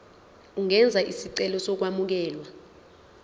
ungenza isicelo sokwamukelwa